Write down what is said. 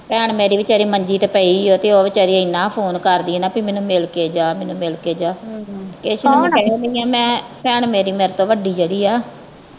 ਭੈਣ ਮੇਰੀ ਵੀ ਵਿਚਾਰੀ ਮੰਜੀ ਤੇ ਪਈ ਓ ਤੇ ਉਹ ਵਿਚਾਰੀ ਇਹਨਾਂ ਫੋਨ ਕਰਦੀ ਨਾ ਪੀ ਮੈਨੂੰ ਮਿਲ ਕੇ ਜਾ ਮੈਨੂੰ ਮਿਲਕੇ ਜਾ ਇਸੇ ਲਈ ਮੈ ਕੇਹਨ ਦੀ ਆ ਮੈ ਭੈਣ ਮੇਰੀ ਮੇਰੇ ਤੋਂ ਵੱਡੀ ਜਿਹੜੀ ਆ।